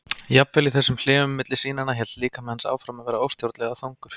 Jafnvel í þessum hléum milli sýnanna hélt líkami hans áfram að vera óstjórnlega þungur.